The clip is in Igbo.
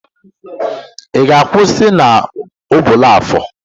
Ị ga-akwụsị na Obollo-Afor?